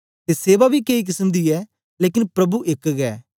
ते सेवा बी केई किसम दी ऐ लेकन प्रभु एक गै